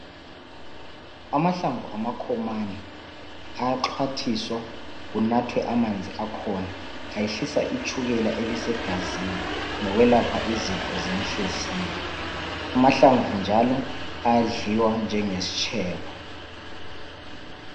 Amahlamvu amakhomane ayaxhwathiswa kunathwe amanzi akhona ayehlisa itshukela elisegazini lokwelapha izifo zenhliziyo. Amahlamvu njalo ayadliwa njengesitshebo.